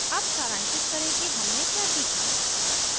अब सारांशित करें कि हमने क्या सीखा